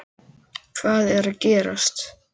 Hvað er gerast?